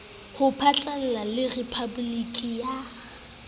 ho phatlalla le rephaboliki ya